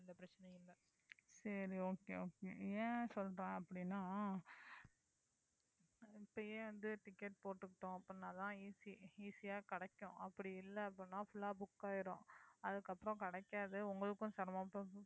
சரி okay okay ஏன் சொல்றேன் அப்படின்னா இப்பயே வந்து ticket போட்டுக்கிட்டோம் அப்படின்னாதான் easy easy ஆ கிடைக்கும் அப்படி இல்லை அப்படின்னா full ஆ book ஆயிடும் அதுக்கப்புறம் கிடைக்காது உங்களுக்கும் சிரமமா போயிடும்